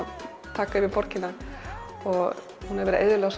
taka yfir borgina og hún hefur verið eyðilögð